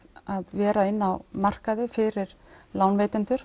vera inni á markaði fyrir lánveitendur